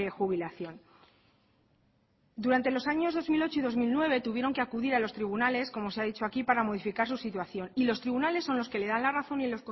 jubilación durante los años dos mil ocho y dos mil nueve tuvieron que acudir a los tribunales como se ha dicho aquí para modificar su situación y los tribunales son los que le dan la razón y